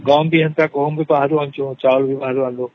ଗହମ ବି ବାହାରୁ ଆଣୁଛୁ ଚାଉଳ ବି ବାହାରୁ ଆଣୁଛୁ